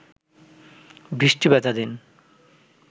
বৃষ্টি ভেজা দিন